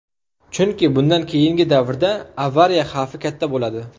Chunki bundan keyingi davrda avariya xavfi katta bo‘ladi.